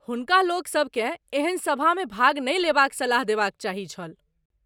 हुनका लोकसभकेँ एहन सभामे भाग नहि लेबाक सलाह देबाक चाही छल।